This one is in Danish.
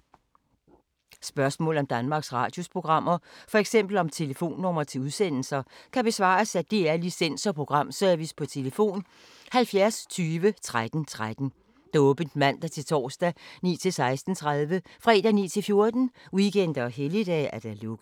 Spørgsmål om Danmarks Radios programmer, f.eks. om telefonnumre til udsendelser, kan besvares af DR Licens- og Programservice: tlf. 70 20 13 13, åbent mandag-torsdag 9.00-16.30, fredag 9.00-14.00, weekender og helligdage: lukket.